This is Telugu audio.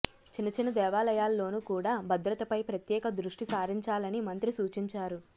చిన్న చిన్న దేవాలయాల్లోనూ కూడా భద్రతపై ప్రత్యేక దృష్టి సారించాలని మంత్రి సూచించారు